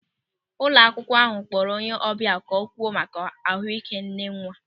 Ụlọ akwụkwọ ahụ kpọrọ onye ọbịa ka ọ kwuo maka ahụị́ké nnenwa.